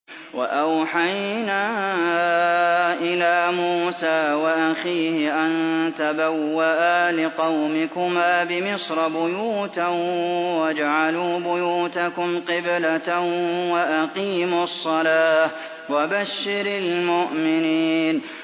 وَأَوْحَيْنَا إِلَىٰ مُوسَىٰ وَأَخِيهِ أَن تَبَوَّآ لِقَوْمِكُمَا بِمِصْرَ بُيُوتًا وَاجْعَلُوا بُيُوتَكُمْ قِبْلَةً وَأَقِيمُوا الصَّلَاةَ ۗ وَبَشِّرِ الْمُؤْمِنِينَ